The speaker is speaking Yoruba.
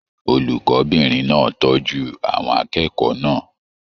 Olùkọbìnrin náà tọjú àwọn akẹ́kọ̀ọ́ náà.